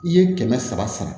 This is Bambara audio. I ye kɛmɛ saba sara